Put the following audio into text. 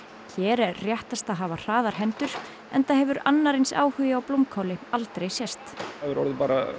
hér er réttast að hafa hraðar hendur enda hefur annar eins áhugi á blómkáli aldrei sést það hefur orðið